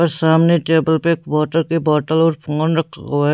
और सामने टेबल पर वाटर की बॉटल और फोन रखा हुआ है।